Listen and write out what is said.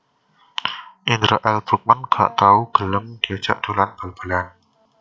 Indra L Bruggman gak tau gelem diajak dolan bal balan